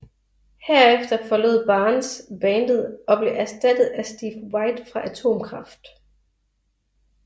Herefter forlod Barnes bandet og blev erstattet af Steve White fra Atomkraft